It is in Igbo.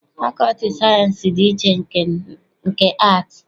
Fakọlti sayiensị dị iche na nke aatị.